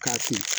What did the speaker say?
K'a kun